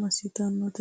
massitannote ?